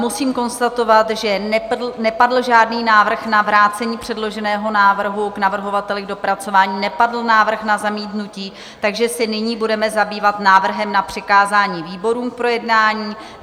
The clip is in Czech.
Musím konstatovat, že nepadl žádný návrh na vrácení předloženého návrhu k navrhovateli k dopracování, nepadl návrh na zamítnutí, takže se nyní budeme zabývat návrhem na přikázání výborům k projednání.